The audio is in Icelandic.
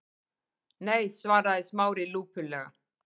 Nei- svaraði Smári lúpulega.